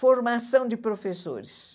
Formação de professores.